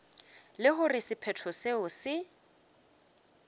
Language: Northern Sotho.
le gore sephetho seo se